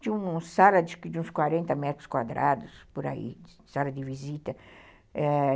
Tinha uma sala de uns quarenta metros quadrados, por aí, sala de visita.